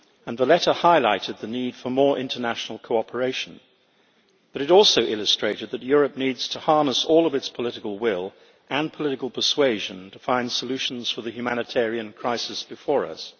Valletta highlighted the need for more international cooperation, but it also illustrated that Europe needs to harness all of its political will and political persuasion to find solutions for the humanitarian crisis before us.